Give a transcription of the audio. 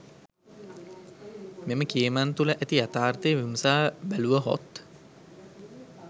මෙම කියමන් තුළ ඇති යථාර්ථය විමසා බැලුව හොත්?